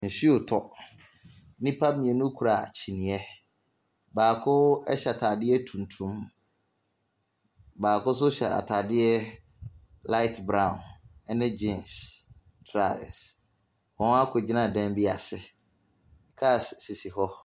Nsuo tɔ, nnipa mmienu kura kyinyɛ, baako ɛhyɛ ataadeɛ tuntum, baako so hyɛ ataadeɛ laet braon ɛne gyens trasɛs, wɔn akɔgyina ɛdan bi ase, kaas sisi hɔ.